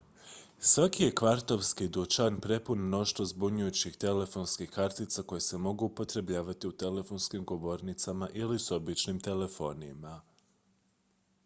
svaki je kvartovski dućan prepun mnoštva zbunjujućih telefonskih kartica koje se mogu upotrebljavati u telefonskim govornicama ili s običnim telefonima